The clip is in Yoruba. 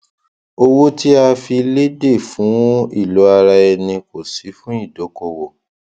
owó tí a fi léde fún ilò ara ẹni kó sí fún ìdókòwò